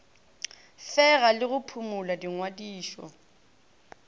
fega le go phumola dingwadišo